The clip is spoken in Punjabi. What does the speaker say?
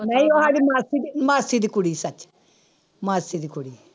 ਨਹੀਂ ਉਹ ਸਾਡੀ ਮਾਸੀ ਦੀ ਮਾਸੀ ਦੀ ਕੁੜੀ ਸੱਚ ਮਾਸੀ ਦੀ ਕੁੜੀ।